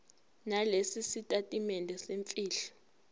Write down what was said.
nalesi sitatimende semfihlo